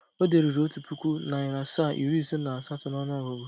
O deruru Otu puku, nari asaa, iri ise na asato n'onuogugu?